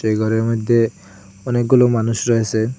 এই গরের মইধ্যে অনেকগুলো মানুষ রয়েসেন।